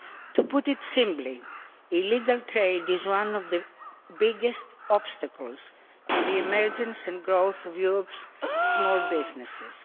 To put it simply, illegal trade is one of the biggest obstacles to the emergence and growth of Europe's small businesses.